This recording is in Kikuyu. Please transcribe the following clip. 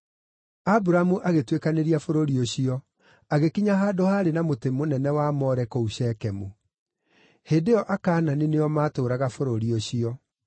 Aburamu agĩtuĩkanĩria bũrũri ũcio agĩkinya handũ haarĩ na mũtĩ mũnene wa More kũu Shekemu. Hĩndĩ ĩyo Akaanani nĩo maatũũraga bũrũri ũcio.